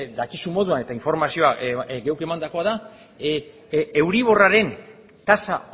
dakizun moduan eta informazioa geuk emandakoa da euriborraren tasa